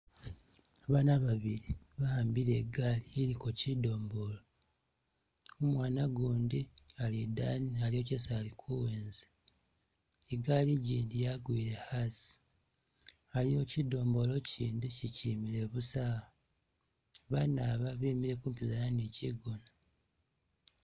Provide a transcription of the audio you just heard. Abana babili ba'ambile igali iliko kyi domolo, umwana gundi ali idaani aliyo kyesi ali kuwenza, igali gindi yagwile asi, aliwo kyidomolo kyindi kyikyimile busa awo, bana ba bemile kumpizana ni kyigona.